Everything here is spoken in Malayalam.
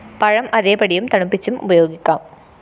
പഴം അതേപടിയും തണുപ്പിച്ചും ഉപയോഗിക്കാം